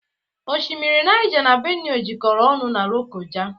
Oshimmiri Nija n'Benue jekoro ọnụ n'Lokoja